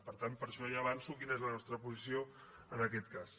per tant per això ja avanço quina és la nostra posició en aquest cas